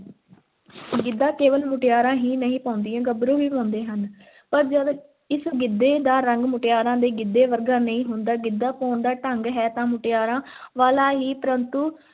ਗਿੱਧਾ ਕੇਵਲ ਮੁਟਿਆਰਾਂ ਹੀ ਨਹੀਂ ਪਾਉਂਦੀਆਂ, ਗੱਭਰੂ ਵੀ ਪਾਉਂਦੇ ਹਨ ਪਰ ਜਦ ਇਸ ਗਿੱਧੇ ਦਾ ਰੰਗ ਮੁਟਿਆਰਾਂ ਦੇ ਗਿੱਧੇ ਵਰਗਾ ਨਹੀਂ ਹੁੰਦਾ, ਗਿੱਧਾ ਪਾਉਣ ਦਾ ਢੰਗ ਹੈ ਤਾਂ ਮੁਟਿਆਰਾਂ ਵਾਲਾ ਹੀ ਪਰੰਤੂ